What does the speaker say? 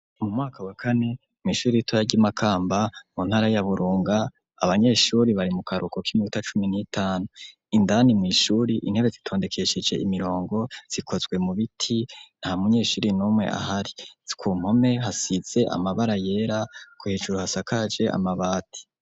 Mu mwaka wa kane mw'ishure ritoya ry'i Makamba mu ntara ya Burunga abanyeshure bari mu karuhuko k'iminota cumi n'itanu indani mw'ishure intebe zitondekesheje imirongo zikozwe mu biti nta munyeshure n'umwe ahari ku mpome hasize amabara yera hejuru hasakaje amabati.